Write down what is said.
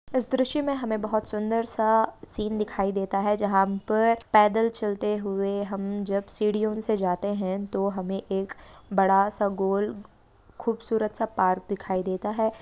इस दृश्य में हमें बहुत सुंदर सा सीन दिखाई देता है जंहा पर पैदल चलते हुए हम जब सीढ़ीओ से जाते हैं तो हमें एक बड़ा सा गोल खूबसूरत सा पार्क दिखाई देता है।